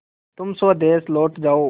तुम स्वदेश लौट जाओ